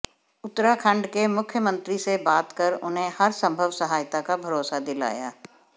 उत्तराखंड के मुख्यमंत्री से बात कर उन्हें हरसंभव सहायता का भरोसा दिलाया